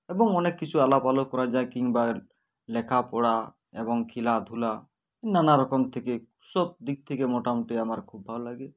এবং অনেক কিছুই আলাপ আলোক করা যায় কিংবা লেখা পড়া এবং খেলাধূলা নানারকম থেকে সবদিক থেকে মোটামুটি আমার খুব ভালো লাগে